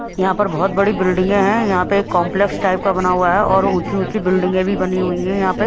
यहां पर बहुत बड़ी बिल्डिंगें है यहां पे कॉम्प्लेक्स टाइप का बना हुआ है और ऊंची ऊंची बिल्डिंगें भी बनी हुई हैं यहां पे।